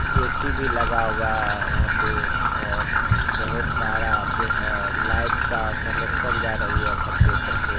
AC भी लगा हुआ है यहा पे और बहोत सारे जो है लाइट का कनेक्शन जा रही है छत के ऊपर से--